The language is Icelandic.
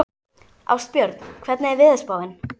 Ástbjörn, hvernig er veðurspáin?